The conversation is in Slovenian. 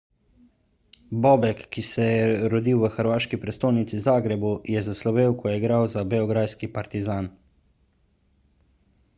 bobek ki se je rodil v hrvaški prestolnici zagrebu je zaslovel ko je igral za beograjski partizan